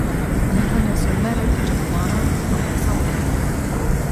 Nihanja so ne le pričakovana, ampak samoumevna.